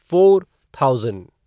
four thousand